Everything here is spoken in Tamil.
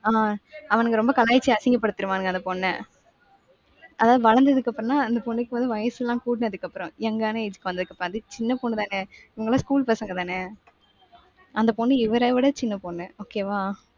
ஆஹ் அவனுங்க ரொம்ப கலாய்ச்சு அசிங்கப்படுத்திருவானுக அந்த பொண்ண. அதாவது வளர்ந்ததுக்கு அப்புறம்னா அந்த பொண்ணுக்கு வந்து வயசு எல்லாம் கூடுனதுக்கு அப்புறம். young ஆன age க்கு வந்ததுக்கப்பராண்டி. சின்ன பொண்ணுதானே? இவங்க எல்லாம் school பசங்க தானே? அந்த பொண்ணு இவரை விட சின்ன பொண்ணு. okay வா.